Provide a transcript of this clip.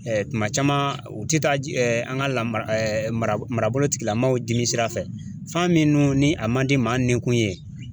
tuma caman u tɛ taa ji an ka lamara mara marabolotigila maaw jiminsira fɛ fan min ni a man di maa ninkun ye